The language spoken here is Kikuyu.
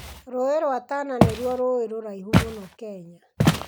Rũũĩ rwa Tana nĩruo rũũĩ rũraihu mũno Kenya.